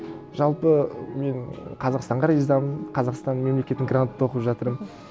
жалпы мен қазақстанға ризамын қазақстан мемлекетінің грантта оқып жатырмын